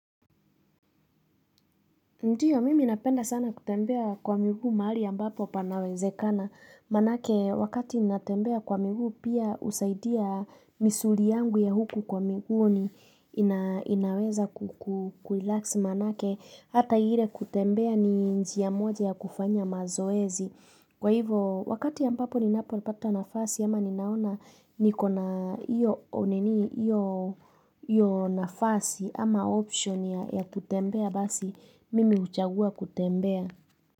Ndio, mimi ninapenda sana kutembea kwa miguu mahali ya ambapo panawezekana. Maanake, wakati ninatembea kwa miguu pia husaidia misuli yangu ya huku kwa miguu inaweza kukurelax maanake. Hata ile kutembea ni njia moja ya kufanya mazoezi. Kwa hivyo, wakati ya ambapo ninapopata nafasi ama ninaona nikona hiyo hiyo nafasi ama option ya kutembea basi. Mimi huchagua kutembea.